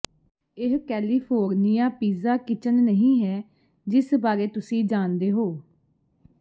ਇਹ California pizza kitchen ਨਹੀਂ ਹੈ ਜਿਸ ਬਾਰੇ ਤੁਸੀਂ ਜਾਣਦੇ ਹੋ